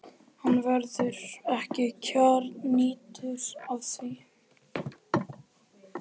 Hann verður ekki kjarnyrtur af því.